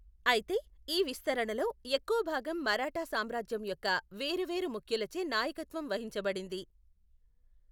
అయితే, ఈ విస్తరణలో ఎక్కువ భాగం మరాఠా సామ్రాజ్యం యొక్క వేరు వేరు ముఖ్యులచే నాయకత్వం వహించబడింది.